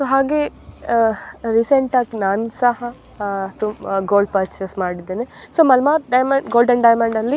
so ಹಾಗೆ ah recent ಆಗ್ ನಾನ್ ಸಹ ಅಹ್ ಗೋಲ್ಡ್ ಪೆರ್ಚಸ್ ಮಾಡಿದ್ದೇನೆ so Malabar gold and diamond ಅಲ್ಲಿ --